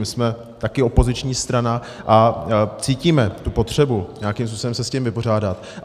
My jsme taky opoziční strana a cítíme tu potřebu nějakým způsobem se s tím vypořádat.